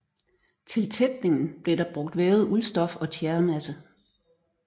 Til tætningen blev der brugt vævet uldstof og tjæremasse